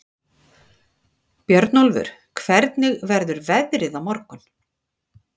Björnólfur, hvernig verður veðrið á morgun?